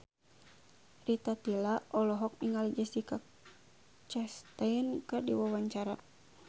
Rita Tila olohok ningali Jessica Chastain keur diwawancara